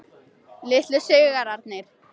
Litlu sigrarnir.